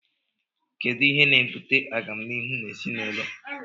Kedụ ihe na - ebụte agamnihụ n' ezịnaụlọ?